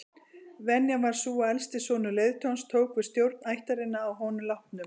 Venjan var sú að elsti sonur leiðtogans tók við stjórn ættarinnar að honum látnum.